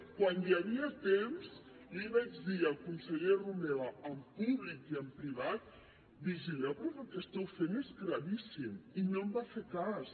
quan hi havia temps li vaig dir al conseller romeva en públic i en privat vigileu perquè el que esteu fent és gravíssim i no em va fer cas